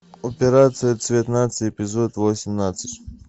операция цвет нации эпизод восемнадцать